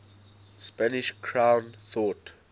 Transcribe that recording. spanish crown thought